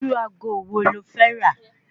Irú ago wo lo fẹ́ rà?